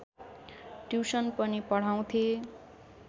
tuition पनि पढाउँथे